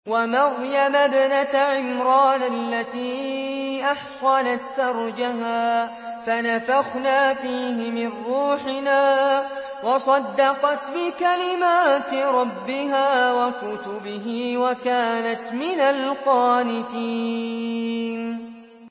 وَمَرْيَمَ ابْنَتَ عِمْرَانَ الَّتِي أَحْصَنَتْ فَرْجَهَا فَنَفَخْنَا فِيهِ مِن رُّوحِنَا وَصَدَّقَتْ بِكَلِمَاتِ رَبِّهَا وَكُتُبِهِ وَكَانَتْ مِنَ الْقَانِتِينَ